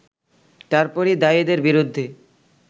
তারপরই দায়ীদের বিরুদ্ধে